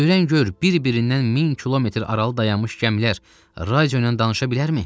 Öyrən gör, bir-birindən min kilometr aralı dayanmış gəmilər radio ilə danışa bilərmi?